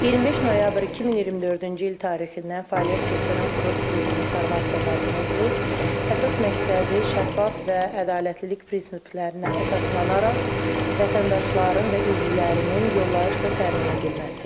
25 noyabr 2024-cü il tarixindən fəaliyyət göstərən Kurort Turizm İnformasiya Mərkəzi əsas məqsədi şəffaf və ədalətlilik prinsiplərinə əsaslanaraq vətəndaşların və üzvlərinin yollayışla təmin edilməsidir.